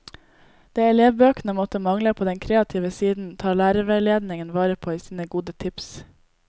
Det elevbøkene måtte mangle på den kreative siden, tar lærerveiledningen vare på i sine gode tips.